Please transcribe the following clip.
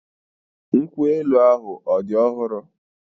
Nkwu elu# ahụ ọ̀ dị ọhụrụ?